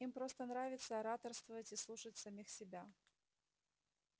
им просто нравится ораторствовать и слушать самих себя